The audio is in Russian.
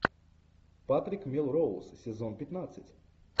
патрик мелроуз сезон пятнадцать